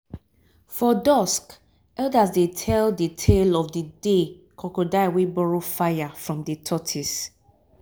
for dusk elders dey tell de tale of de de crocodile wey borrow fire from de tortoise